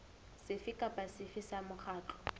sefe kapa sefe sa mokgatlo